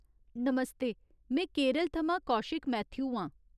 नमस्ते, में केरल थमां कौशिक मैथ्यू आं।